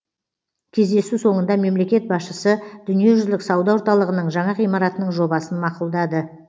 кездесу соңында мемлекет басшысы дүниежүзілік сауда орталығының жаңа ғимаратының жобасын мақұлдады